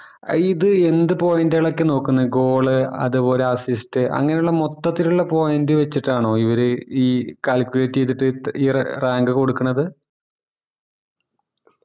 ആ ഇത് ന്ത ഇപ്പൊ point കൾ ഒക്കെ നോക്കുന്നെ goal അതുപോലെ assist അങ്ങനെ ള്ള മൊത്തത്തില് ള്ള point വച്ചിട്ടാണോ ഇവര് ഈ calculate ചെയ്തിട് ഈ ഈയൊരു rank